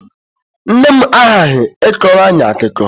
Nne m aghaghị ịkọrọ anyị akụkọ!